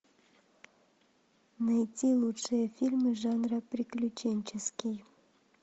найти лучшие фильмы жанра приключенческий